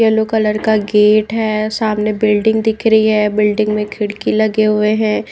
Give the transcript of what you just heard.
Yellow colour का gate है सामने बिल्डिंग दिख रही है बिल्डिंग में खिड़की लगे हुए हैं।